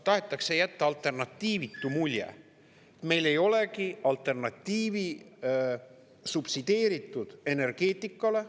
Tahetakse jätta alternatiivitu mulje: meil ei olegi alternatiivi subsideeritud energeetikale.